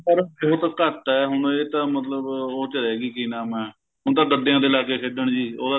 ਪਰ ਬਹੁਤ ਘੱਟ ਏ ਹੁਣ ਇਹ ਤਾਂ ਮਤਲਬ ਉਹ ਚ ਰਹਿਗੀ ਕੀ ਨਾਮ ਏ ਉਨੂੰ ਤਾਂ ਗੱਦਿਆਂ ਤੇ ਲੱਗ ਗਏ ਖੇਡਣ ਜੀ ਉਹਦਾ ਤੇ